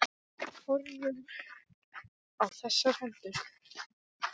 Horfðum á þessar hendur.